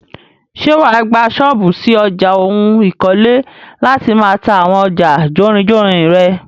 Ṣé wàá gbà ṣọ́ọ́bù ṣí ọjà oun ikole láti máà ta àwọn ọjà jórinjórin rẹ?